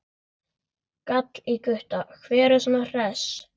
gall í Gutta, hver er svona hress?